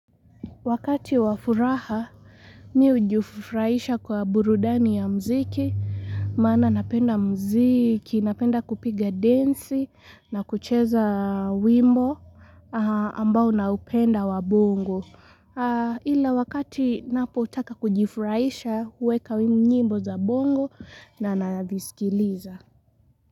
Wakati wa furaha mi hujifurahisha kwa burudani ya mziki Maana napenda mziki, napenda kupiga densi na kucheza wimbo ambao naupenda wa bongo Ila wakati napo utaka kujifurahisha huweka wimu nyimbo za bongo na nanavisikiliza.